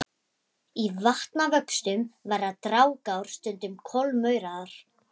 Í vatnavöxtum verða dragár stundum kolmórauðar.